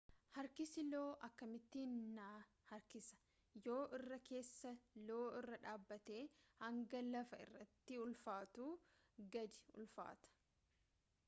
harkisi lo akkamittiin na harkisa yoo irra keessa lo irra dhaabatte hanga lafa irratti ulfaattuu gadi ulfaatta